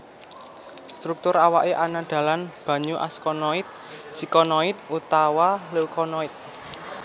Struktur awake ana dalan banyu askonoid sikonoid utawa leukonoid